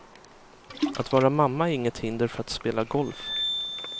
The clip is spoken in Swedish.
Att vara mamma är inget hinder för att spela golf.